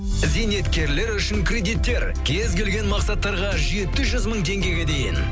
зейнеткерлер үшін кредиттер кез келген мақсаттарға жеті жүз мың теңгеге дейін